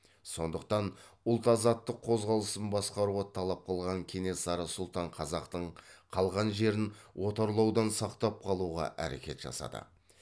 сондықтан ұлт азаттық қозғалысын басқаруға талап қылған кенесары сұлтан қазақтың қалған жерін отарлаудан сақтап қалуға әрекет жасады